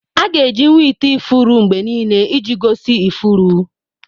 Aga-eji nwa ite ifuru mgbe niile iji gosi ifuru.